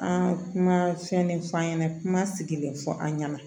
An kuma fɛn de f'an ɲɛna kuma sigilen fɔ an ɲɛna